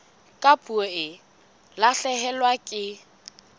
ha puo e lahlehelwa ke